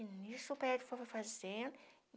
E nisso o prédio foi fazendo.